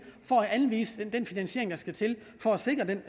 for at anvise den finansiering der skal til for at sikre den